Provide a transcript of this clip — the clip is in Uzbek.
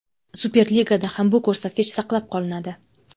Super Ligada ham bu ko‘rsatkich saqlab qolinadi.